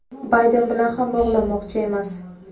Bayden bilan ham bog‘lanmoqchi emas.